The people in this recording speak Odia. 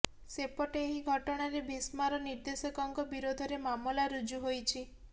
ସେପଟେ ଏହି ଘଟଣାରେ ଭୀମ୍ସାର ନିର୍ଦେଶକଙ୍କ ବିରୋଧରେ ମାମଲା ରୁଜ୍ଜୁ ହୋଇଛି